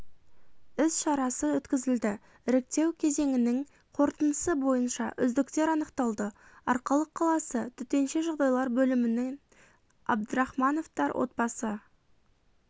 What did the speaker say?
іс-шарасы өткізілді іріктеу кезеңінің қорытындысы бойынша үздіктер анықталды арқалық қаласы төтенше жағдайлар бөлімінен абдрахмановтар отбасы